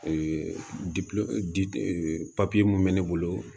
di e papiye mun bɛ ne bolo